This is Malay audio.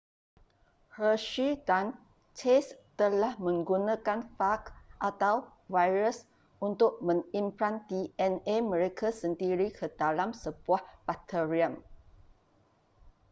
hershey dan chase telah menggunakan faj atau virus untuk mengimplan dna mereka sendiri ke dalam sebuah bakterium